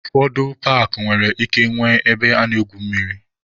Ụfọdụ paakị nwere ike nwee ebe a na-egwu mmiri.